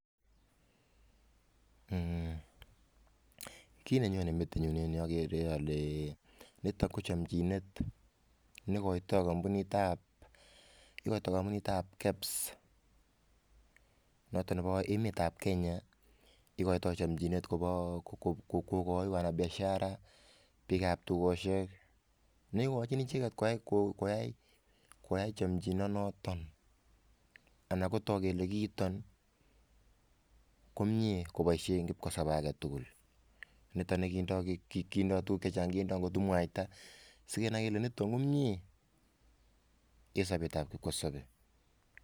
Eeh! Kit nenyone metinyun en ireyu agere ale nitok ko chamchinet negoito kampunitab kebs noto nebo emetab Kenya igoito chamchinet kokoi kora piashara biikab tugosiek ne igochin icheget koyai chomchinonoto ana kotok kele kiiton komie koboisien kipkosobe age tugul. Nitok ne kindo tuguk chechang, kindo ngotko mwaita. Sigenai kele niton komie en sobetab kipkosabe.